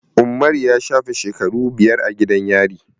Umaru ya shafe shekaru biyar a gidan yari.